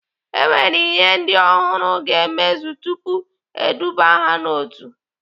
E nwere ihe ndị ọhụrụ ga-emezu tupu eduba ha n'otu.